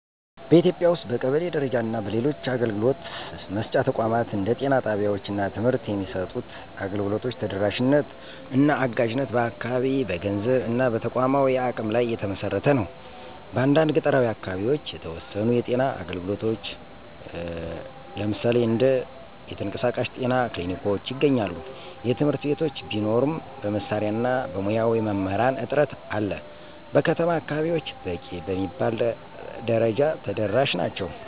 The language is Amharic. በኢትዮጵያ ውስጥ በቀበሌ ደረጃ እና በሌሎች አገልግሎት መስጫ ተቋማት እንደ ጤና ጣቢያወች እና ትምህርት የሚሰጡት አገልግሎቶች ተደራሽነት እና አጋዥነት በአካባቢ፣ በገንዘብ እና በተቋማዊ አቅም ላይ የተመሰረተ ነው። በአንዳንድ ገጠራዊ አካባቢዎች የተወሰኑ የጤና አገልግሎቶች (እንደ የተንቀሳቃሽ ጤና ክሊኒኮች) ይገኛሉ። የትምህርት ቤቶች ቢኖሩም በመሳሪያ እና በሙያዊ መምህራን እጥረት አለ። በከተማ አከባቢወች በቂ በሚባል ደረጃ ተደራሽ ናቸው።